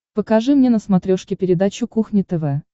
покажи мне на смотрешке передачу кухня тв